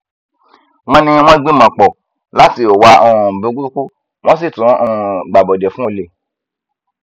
wọn ní wọn gbìmọpọ láti hùwà um burúkú wọn sì tún um gbàbọdè fún olè